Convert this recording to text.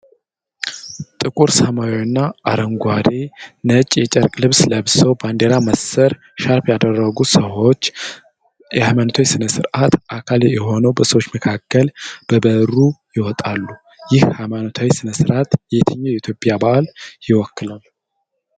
ጥቁር ሰማያዊና አረንጓዴ፣ ነጭ የጨርቅ ልብስ ለብሰው፣ ባንድራ መሰል ሻርፕ ያደረጉ ሰዎች የሃይማኖታዊ ሥነ ስርዓት አካል ሆነው በሰዎች መካከል በበሩ ይወጣሉ። ይህ ሃይማኖታዊ ሥነ ሥርዓት የትኛውን የኢትዮጵያ በዓል ይወክላል?